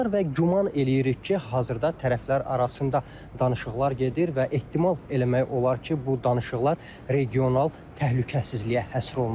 Və güman eləyirik ki, hazırda tərəflər arasında danışıqlar gedir və ehtimal eləmək olar ki, bu danışıqlar regional təhlükəsizliyə həsr olunub.